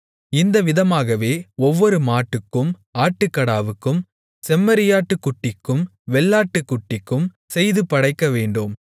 இந்தவிதமாகவே ஒவ்வொரு மாட்டுக்கும் ஆட்டுக்கடாவுக்கும் செம்மறியாட்டுக் குட்டிக்கும் வெள்ளாட்டுக் குட்டிக்கும் செய்து படைக்கவேண்டும்